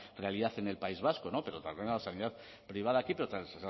realidad en el país vasco pero también a la sanidad privada aquí